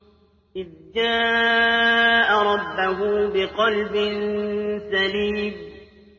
إِذْ جَاءَ رَبَّهُ بِقَلْبٍ سَلِيمٍ